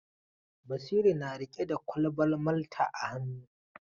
Basiru na riƙe da kwalban Malta a hannu.